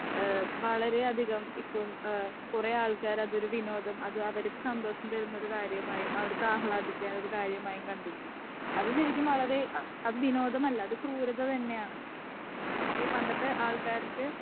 Speaker 2 ഏഹ് വളരെ അധികം ഇപ്പൊ ഏഹ് കൊറേ ആൾകാർ അതൊരു വിനോദം അത് അവര്ക്ക് സന്തോഷം തരുന്ന ഒരു കാര്യമായി അവര്ക്ക് ആഹ്ളാദിക്കാന്നൊരു കാര്യമായി കണ്ടിരുന്നു. അത് ശരിക്കും വളരെ അത് വിനോദമല്ല അത് ക്രൂരത തന്നെയാണ് പക്ഷെ പണ്ടത്തെ ആൾക്കാർക്ക്